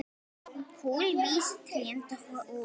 Kulvísu trén dóu út.